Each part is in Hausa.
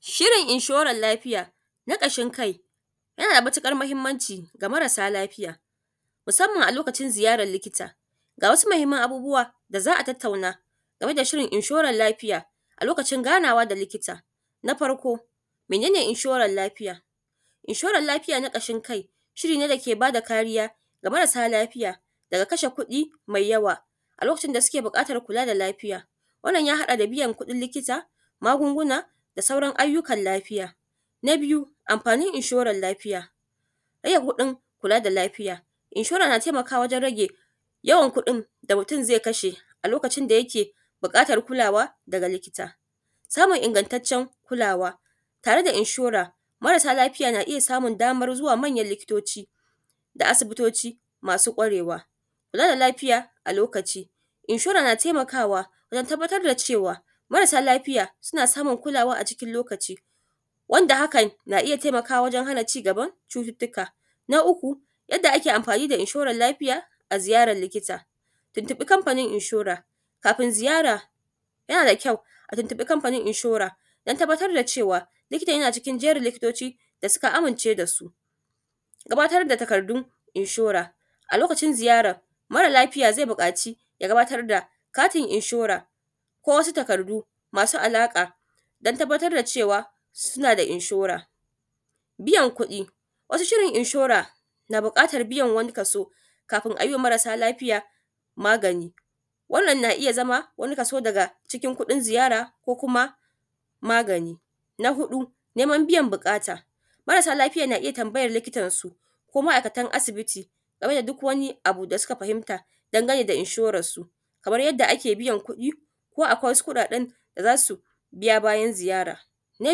Shirin inshoran lafiya na ƙashin kai yanada matukar mahimmanci ga marasa lafiya musamman a lokacin ziyaran likita, ga wasu mahimman abubuwan da za'a tattauna akan inshoran lafiya musamman in anzo ganawa da likita. Na farko mene ne inshoran lafiya? Inshoran lafiya na ƙashin kai shirin ne dake bada kariya ga marasa lafiya wajen kashe kuɗi mai yawa a lokacin da suke kula da lafiya hakan ya haɗa da biyan kudin likita, magunguna da sauran ayyukan lafiya. Na biyu amfanin inshoran lafiya rage kuɗin kula da lafiya inshora na taimakawa wajen rage yawan kuɗin da mutun zai kashe a lokacin da yake buƙatar kula daga likita. Samun ingattatcen kulawa tare da inshora marasa lafiya na iyya samun damar zuwa wurin manyan likitoci da asibitoci. Kula da lafiya a lokaci inshora na taimakawa dan tabbatar da cewa marasa lafiya suna samun kulawa a cikin lokaci wanda hakan na taimakawa wajen hana cigban cututtuka. Na uku yadda ake amfani da inshoran lafiya a ziyarar likita, kafin ziyaran yana da kyau ka tuntubi kamfanin inshore dan tabbatar da cewa likitan tana cikin jerin likitoci da suka amince dasu. Gabatar da takardun inshora a lokacin ziyara mara lafiya zai buƙaci ya gabatar da katin inshora ko wasu takardu masu alaƙa dan tabbatar da cewa suna da inshora. Biyan kudi wasu Shirin inshora na buƙatan biyan kafin ayima mara lafiya wani wani wani kaso, wannan na iyya zama kaso daga kuɗin ziyara ko kuma magani. Na hudu neman biyan buƙata marasa lafiya na tambayan likitan su ko ma aikatan asibiti game da duk Wani abu da suka fahinta game da inshoran su kamar yadda ake biyan kuɗi ko akwai wasu kuɗaɗen da zasu biya bayan ziyara. Na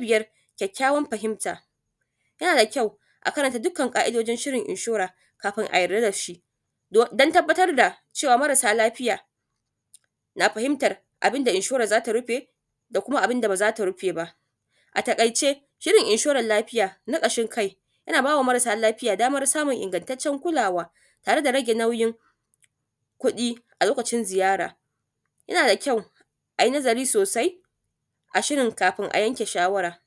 biyar kyakkyawan fahinta ya nada kyau a karanta dukkanin ka'idodin shirin inshora kafi a yarda dashi dan tabbatar da cewa marasa lafiya bukatan karanta abunda inshora zata rufe da kuma abunda bazata rufe ba. A takaice shirin inshoran lafiya na kashi kai yana bawa marasa lafiya daman samun ingattatcen kulawa tare da rage nauyin kuɗi a lokacin ziyara, ya nada kyau ayi nazari sosai a shirin kafin a yanke shawara.